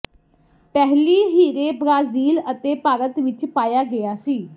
ਪਹਿਲੀ ਹੀਰੇ ਬ੍ਰਾਜ਼ੀਲ ਅਤੇ ਭਾਰਤ ਵਿਚ ਪਾਇਆ ਗਿਆ ਸੀ